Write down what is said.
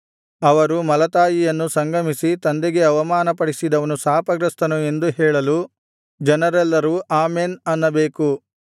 ಅವರು ಮಲತಾಯಿಯನ್ನು ಸಂಗಮಿಸಿ ತಂದೆಗೆ ಅವಮಾನಪಡಿಸಿದವನು ಶಾಪಗ್ರಸ್ತನು ಎಂದು ಹೇಳಲು ಜನರೆಲ್ಲರೂ ಆಮೆನ್ ಅನ್ನಬೇಕು